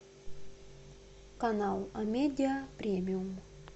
канал амедиа премиум